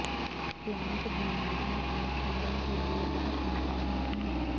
plant بیماریوں اور کیڑوں کے لئے بہت مزاحم ہے